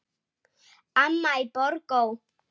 Amma í Borgó.